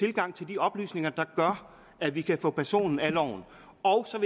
adgang til de oplysninger der gør at vi kan få personen af loven